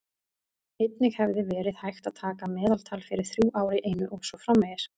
Einnig hefði verið hægt að taka meðaltal fyrir þrjú ár í einu og svo framvegis.